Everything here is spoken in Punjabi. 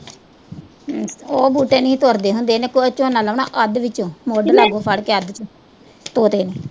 ਉਹ ਬੂਟੇ ਨੀਂ ਤੁਰਦੇ ਹੁੰਦੇ, ਇਹਨੇ ਝੋਨਾ ਲਾਉਣਾ ਅੱਧ ਵਿੱਚ